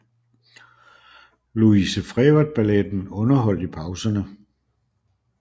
Louise Frevert balletten underholdt i pauserne